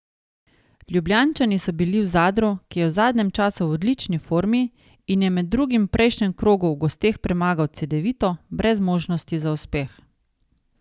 Ljubljančani so bili v Zadru, ki je v zadnjem času v odlični formi in je med drugim v prejšnjem krogu v gosteh premagal Cedevito, brez možnosti za uspeh.